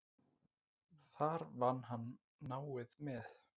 Þar vann hann náið með